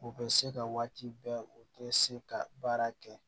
U bɛ se ka waati bɛɛ u tɛ se ka baara kɛ